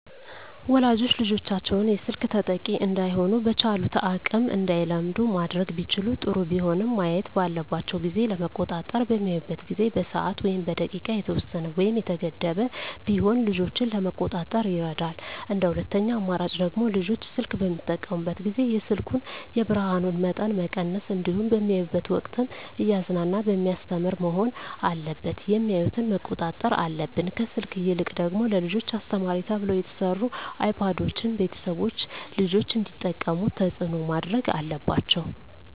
ወላጆች ልጆቻቸውን የስልክ ተጠቂ እዳይሆኑ በቻሉት አቅም እንዳይለምዱ ማድረግ ቢችሉ ጥሩ ቢሆንም ማየት ባለባቸው ጊዜ ለመቆጣጠር በሚያዩበት ጊዜ በሰዓት ወይም በደቂቃ የተወሰነ ወይም የተገደበ ቢሆን ልጆችን ለመቆጣጠር ይረዳል እንደ ሁለተኛ አማራጭ ደግሞ ልጆች ስልክ በሚጠቀሙበት ጊዜ የስልኩን የብርሀኑን መጠን መቀነስ እንዲሁም በሚያዩበት ወቅትም እያዝናና በሚያስተምር መሆን አለበት የሚያዮትን መቆጣጠር አለብን። ከስልክ ይልቅ ደግሞ ለልጆች አስተማሪ ተብለው የተሰሩ አይፓዶችን ቤተሰቦች ልጆች እንዲጠቀሙት ተፅዕኖ ማድረግ አለባቸው።